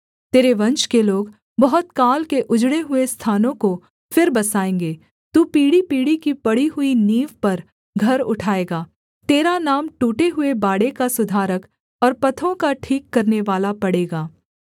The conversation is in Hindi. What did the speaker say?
तेरे वंश के लोग बहुत काल के उजड़े हुए स्थानों को फिर बसाएँगे तू पीढ़ीपीढ़ी की पड़ी हुई नींव पर घर उठाएगा तेरा नाम टूटे हुए बाड़े का सुधारक और पथों का ठीक करनेवाला पड़ेगा